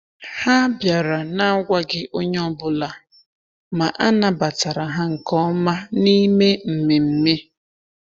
Ha bịara na-agwaghị onye ọbụla, ma a nabatara ha nke ọma n’ime mmemme.